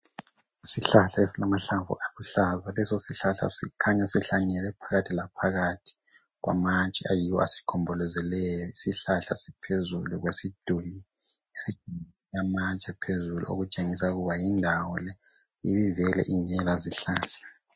Isihlahla esilamahlamvu aluhlaza leso sihlahla sikhanya sihlanyelwe phakathi laphakathi kwamatshe ayiwo asigombolozeleyo isihlahla siphezulu kwesiduli lamatshe okutshengisa ukuba yindawo le ibingela vele ingela zihlahla